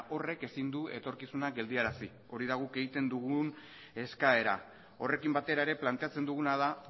horrek ezin du etorkizuna geldiarazi hori da guk egiten dugun eskaera horrekin batera ere planteatzen duguna da